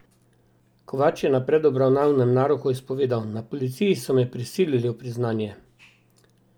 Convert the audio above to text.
Kovač je na predobravnavnem naroku izpovedal: "Na policiji so me prisilili v priznanje.